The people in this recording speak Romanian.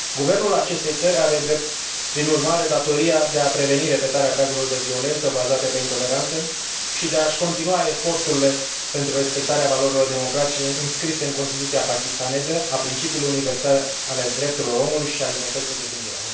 Guvernul acestei țări are, prin urmare, datoria de a preveni repetarea cazurilor de violență bazate pe intoleranță și de a și continua eforturile pentru respectarea valorilor democratice înscrise în Constituția pakistaneză, a principiilor universale ale drepturilor omului și a libertății de gândire.